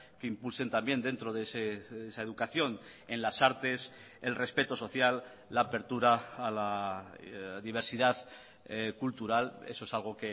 que impulsen también dentro de esa educación en las artes el respeto social la apertura a la diversidad cultural eso es algo